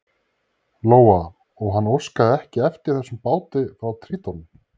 Lóa: Og hann óskaði ekki eftir þessum báti frá Tríton?